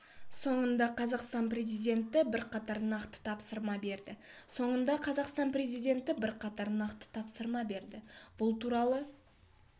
соңында қазақстан президенті бірқатар нақты тапсырма берді соңында қазақстан президенті бірқатар нақты тапсырма берді бұл туралы